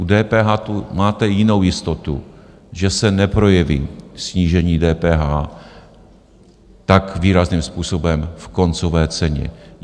U DPH tam máte jinou jistotu, že se neprojeví snížení DPH tak výrazným způsobem v koncové ceně.